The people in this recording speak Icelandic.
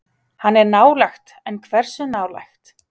Hann er nálægt en hversu nálægt?